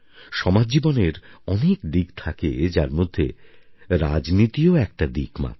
সমাজজীবনের অনেক দিক থাকে যার মধ্যে রাজনীতিও একটা দিক মাত্র